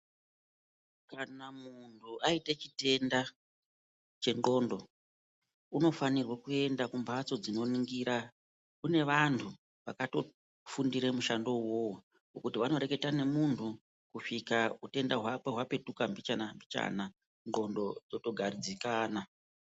Kana muntu aite chitenda chendxondo unofanirwe kuenda kumbatso dzinoningira. Kune vantu vakatofundire mushando uwowo wokuti vanoreketa nemuntu kusvika utenda hwakwe hwapetuka mbichana-mbichana ndxondo dzotogadzikana.